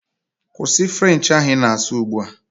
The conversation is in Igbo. Kwụsị French ahụ ị na-asụ ugbu a!